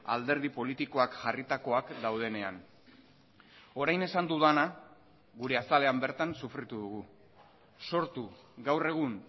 alderdi politikoak jarritakoak daudenean orain esan dudana gure azalean bertan sufritu dugu sortu gaur egun